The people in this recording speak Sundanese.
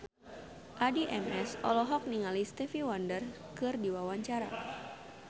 Addie MS olohok ningali Stevie Wonder keur diwawancara